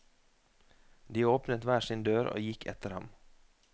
De åpnet hver sin dør og gikk etter ham.